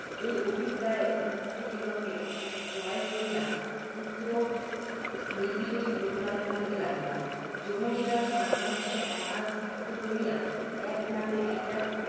এই অভিপ্রায়ে উহাদিগকে ক্রয় করিয়া, পুত্ত্রনির্বিশেষে প্রতিপালন করিতে লাগিলাম। যমজেরা সর্ব্বাংশে একাকৃত বলিয়া, এক নামে এক এক